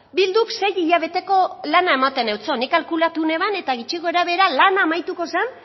bilduk sei hilabeteko lana ematen eutson nik kalkulatu neban eta gutxi gorabehera lana amaituko zan